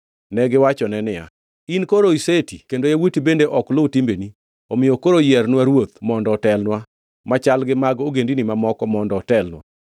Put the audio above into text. Negiwachone niya, “In koro iseti kendo yawuoti bende ok luw timbeni; omiyo koro yiernwa ruoth mondo otelnwa, machal gi mag ogendini mamoko mondo otelnwa.”